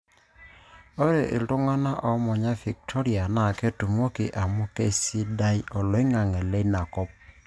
Ore iltung'ana oomanya Victoria naa ketumoki amuu keisida oloing'ang'e leina kop.